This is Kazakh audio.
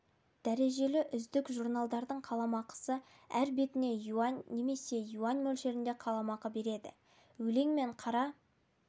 дәрежелі үздік журналдардың қаламақысы әр бетіне юань немесе юань мөлшерінде қаламақы береді өлең мен қара